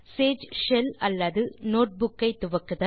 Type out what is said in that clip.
Sage shell அல்லது notebook ஐ துவக்க